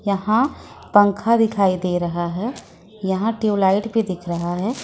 यहां पंखा दिखाई दे रहा है यहां ट्यूबलाइट भी दिख रहा है।